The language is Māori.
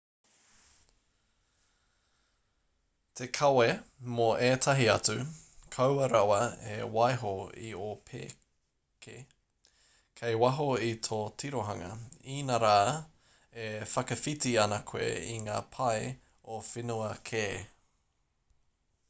te kawe mō ētahi atu kaua rawa e waiho i ō pēke kei waho i tō tirohanga inarā e whakawhiti ana koe i ngā pae o whenua kē